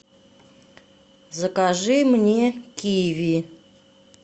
закажи мне киви